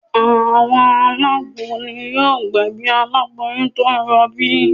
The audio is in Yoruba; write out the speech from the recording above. Àwọn alágbo ni yóò gbẹ̀bí aláboyún tó ń rọbí